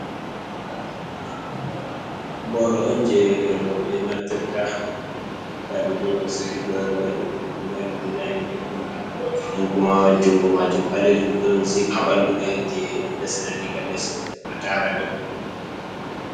Boro on je roɓe naftirta da ɓeɗo sigi boro mai mari dezin boɗɗum nden kuma jungo majum balejum don zip habandu mai je be daseta diga les ha tara dou.